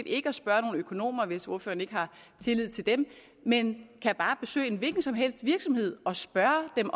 ikke at spørge nogen økonomer hvis ordføreren ikke har tillid til dem men kan bare besøge en hvilken som helst virksomhed og spørge dem